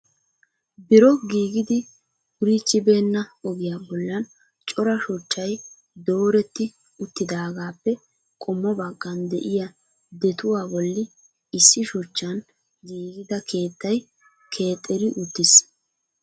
Biro giiggidi wurichibeena ogiyaa bollan cora shuchchay dooretti uttidaagappe qommo baggan de'iyaa detuwaa bolli issi shuchchan giigida keettay keexxeri uttiis.